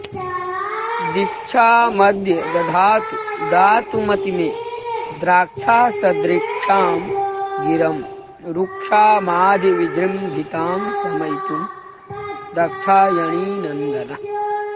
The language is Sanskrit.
दीक्षामद्य दधातु दातुमति मे द्राक्षासदृक्षां गिरं रूक्षामाधिविजृम्भितां शमयितुं दाक्षायणीनन्दनः